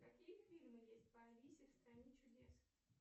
какие фильмы есть по алисе в стране чудес